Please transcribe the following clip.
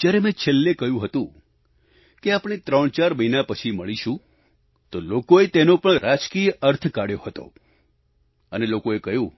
જ્યારે મેં છેલ્લે કહયું હતું કે આપણે ત્રણચાર મહિના પછી મળીશું તો લોકોએ તેનો પણ રાજકીય અર્થ કાઢ્યો હતો અને લોકોએ કહ્યું